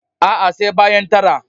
A'a, sai bayan tara.